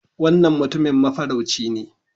Wannan Mutumin Mafarauci ne